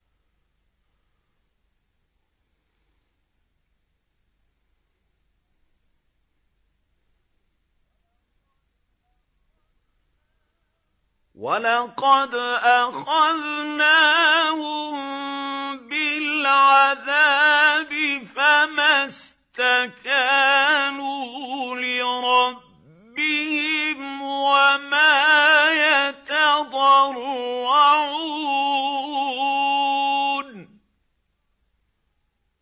وَلَقَدْ أَخَذْنَاهُم بِالْعَذَابِ فَمَا اسْتَكَانُوا لِرَبِّهِمْ وَمَا يَتَضَرَّعُونَ